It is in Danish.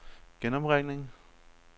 genopringning